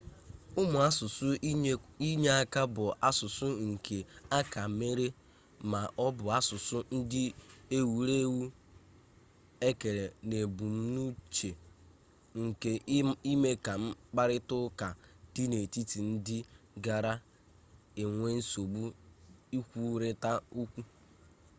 ụmụ asụsụ inyeaka bụ asụsụ nke akamere ma ọ bụ asụsụ ndị ewuru ewu e kere n'ebumnuche nke ime ka mkparịta ụka dị n'etiti ndị gara-enwe nsogbu ikwurita okwu